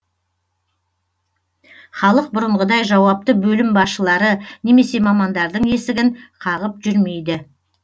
халық бұрынғыдай жауапты бөлім басшылары немесе мамандардың есігін қағып жүрмейді